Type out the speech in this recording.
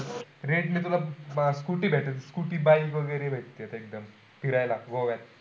Rent नी तुला scooter भेटेल scooty, bike वगैरे भेटत फिरायला गोव्यात.